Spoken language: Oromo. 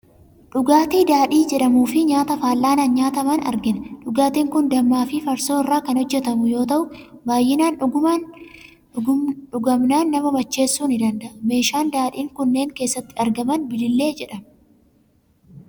Dhugaatii dhaadhii jedhamuu fi nyaata fal'aanaan nyaataman argina. Dhugaatiin kun dammaa fi farsoo irraa kan hojjetamu yoo ta'u, baay'inaan dhugamnaan nama macheessuu ni danda'a. Meeshaan daadhiin kunneen keessatti argaman biliillee jedhama.